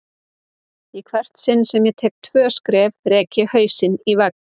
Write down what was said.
Í hvert sinn sem ég tek tvö skref rek ég hausinn í vegg.